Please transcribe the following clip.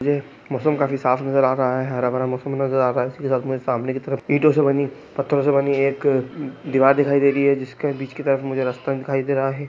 मुझे मौसम काफी साफ नजर आ रहा है हरा भरा मौसम नज़र आ रहा है सामने की तरफ ईंटों से बनी पत्थरों से बनी एक दीवार दिखाई दे रही हैजिसके बीच की तरफ मुझे रास्ता दिखाई दे रहा है।